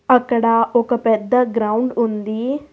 అక్కడ ఒక పెద్ద గ్రౌండ్ ఉంది.